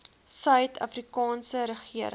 suid afrikaanse regering